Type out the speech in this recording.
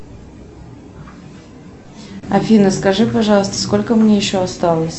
афина скажи пожалуйста сколько мне еще осталось